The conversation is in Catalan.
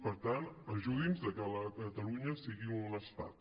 per tant ajudi’ns a que catalunya sigui un estat